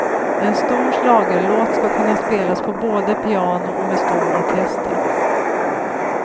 En stor schlagerlåt ska kunna spelas på både piano och med stor orkester.